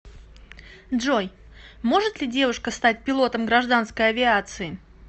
джой может ли девушка стать пилотом гражданской авиации